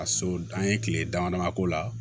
A so an ye kile dama dama k'o la